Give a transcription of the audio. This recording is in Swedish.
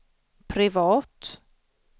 privat